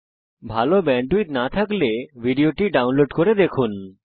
যদি ভাল ব্যান্ডউইডথ না থাকে তাহলে আপনি ভিডিওটি ডাউনলোড করে দেখতে পারেন